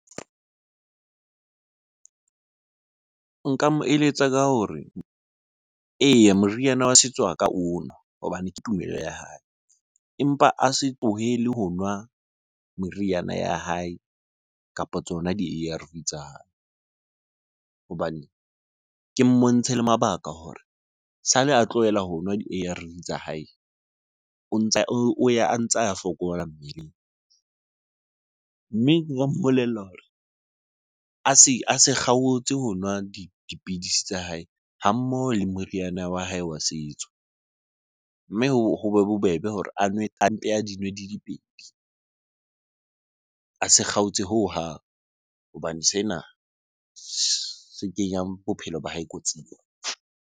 Nka mo eletsa ka hore eya, moriana wa setso a ka o nwa hobane ke tumelo ya hae. Empa a se tlohele ho nwa meriana ya hae kapa tsona di-A_R_V tsa hae. Hobane, ke mmontshe le mabaka hore sale a tlohela ho nwa di-A_R_V tsa hae, o ntsa o ya a ntsa a fokola mmeleng. Mme mmolella hore a se kgaotse ho nwa dipidisi tsa hae ha mmoho le moriana wa hae wa setso. Mme hobe bobebe hore a nwe, a mpe a di nwe di dipedi. A se kgaotse hohang hobane sena se kenyang bophelo ba hae kotsing.